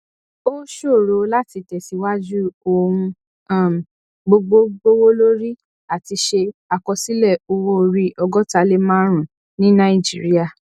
ó ṣòro láti tẹsíwájú ohun um gbogbo gbówólórí a ti ṣe àkọsílẹ owó orí ọgóta lé márùnún ní nàìjíríà